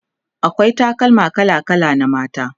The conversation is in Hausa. akwai takalma kala kala na mata